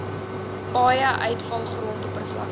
paaie uitvalgrond oppervlakte